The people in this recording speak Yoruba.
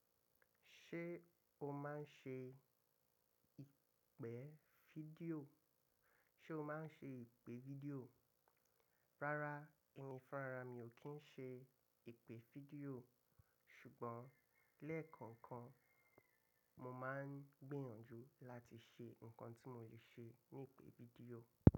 Ṣé o máa ń ṣe ìpè fídíò? Ṣé o máa ń ṣe ìpè fídíò? Rárá, ẹmi fúnra ra mi ò kí ń ṣe ìpè fídíò. Ṣùgbọ́n lẹ́ẹ̀kọ̀ọ̀kan mo máa ń gbìyànjú láti ṣe nǹkan tí mo lè ṣe ní ìpè fídíò.